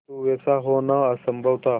किंतु वैसा होना असंभव था